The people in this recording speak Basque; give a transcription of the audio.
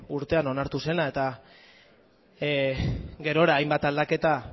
urtean onartu zela eta gerora hainbat aldaketa